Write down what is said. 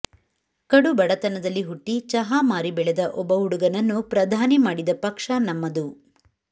ಕಡುಬಡತನದಲ್ಲಿ ಹುಟ್ಟಿ ಚಹಾ ಮಾರಿ ಬೆಳೆದ ಒಬ್ಬ ಹುಡುಗನನ್ನು ಪ್ರಧಾನಿ ಮಾಡಿದ ಪಕ್ಷ ನಮ್ಮದು